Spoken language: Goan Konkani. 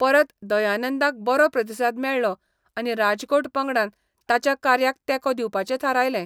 परत, दयानंदाक बरो प्रतिसाद मेळ्ळो आनी राजकोट पंगडान ताच्या कार्याक तेंको दिवपाचें थारायलें.